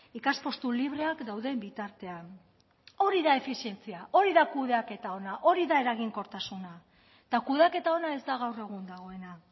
ikaspostu libreak dauden bitartean hori da efizientzia hori da kudeaketa ona hori da eraginkortasuna eta kudeaketa ona ez da gaur egun dagoena